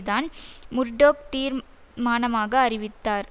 தான் முர்டோக் தீர் மானமாக அளித்தார்